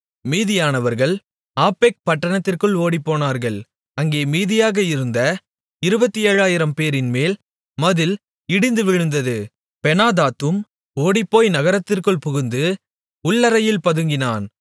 மீதியானவர்கள் Aphek பட்டணத்திற்குள் ஓடிப்போனார்கள் அங்கே மீதியாக இருந்த 27000 பேரின்மேல் மதில் இடிந்து விழுந்தது பெனாதாத்தும் ஓடிப்போய் நகரத்திற்குள் புகுந்து உள்ளறையில் பதுங்கினான்